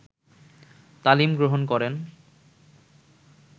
তালিম গ্রহণ করেন